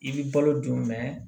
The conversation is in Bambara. I bɛ balo dun